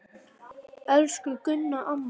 Elsku Gunna amma.